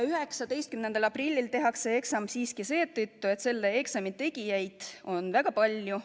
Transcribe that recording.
19. aprillil tehakse eksam siiski seetõttu, et selle eksami tegijaid on väga palju.